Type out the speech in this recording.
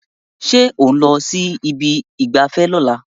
Ṣé ò ń lọ sí ibi ìgbafẹ́ lọ́la